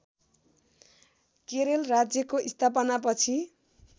केरल राज्यको स्थापनापछि